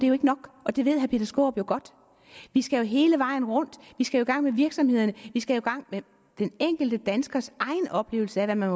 er ikke nok og det ved herre peter skaarup jo godt vi skal hele vejen rundt vi skal i gang med virksomhederne vi skal i gang med den enkelte danskers egen oplevelse af hvad man